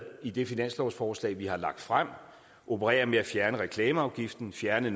i det finanslovsforslag vi har lagt frem opererer med at fjerne reklameafgiften fjerne